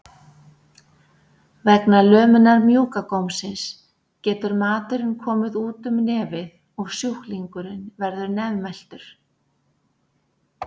Vegna lömunar mjúka gómsins getur maturinn komið út um nefið og sjúklingurinn verður nefmæltur.